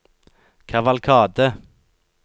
kavalkade